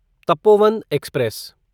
Tapovan express